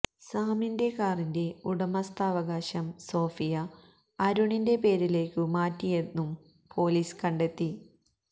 സാമിന്റെ കാറിന്റെ ഉടമസ്ഥാവകാശം സോഫിയ അരുണിന്റെ പേരിലേക്കു മാറ്റിയെന്നും പൊലീസ് കണ്ടെത്തി